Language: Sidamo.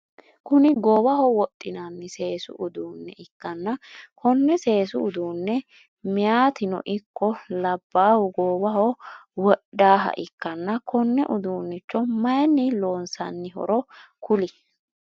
Kuni goowaho wodhinanni seesu uduunne ikkanna konne seesu uduunne meeyaatino ikko labaahu goowaho wodhaaha ikkanna konne uduunichcho mayiinni loonsanihoro kuli?